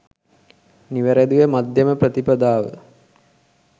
නිවැරැදිව මධ්‍යම ප්‍රතිපදාව